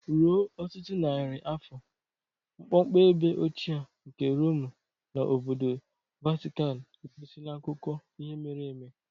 Ruo ọtụtụ narị afọ, mkpọmkpọ ebe ochie nke Romu na obodo Vatikan egosila akụkọ ihe mere eme.